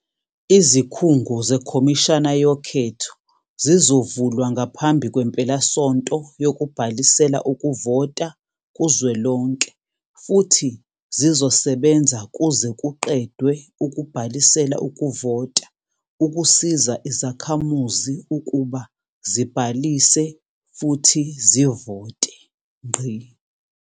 Izikhungo zeKhomishana yoKhetho zizovulwa ngaphambi kwempelasonto yokubhalisela ukuvota kuzwelonke futhi zizosebenza kuze kuqedwe ukubhalisela ukuvota ukusiza izakhamuzi ukuba zibhalise futhi zivote.